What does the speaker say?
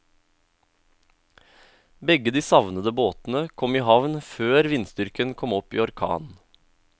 Begge de savnede båtene kom i havn før vindstyrken kom opp i orkan.